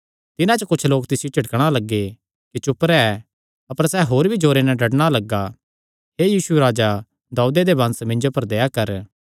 तिन्हां च कुच्छ लोक तिसियो झिड़कणा लग्गे कि चुप रैह् अपर सैह़ होर भी जोरे नैं डड्डणा लग्गा हे दाऊदे दे वंश मिन्जो पर दया कर